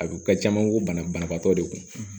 A don ka caman ko banabaatɔ de kun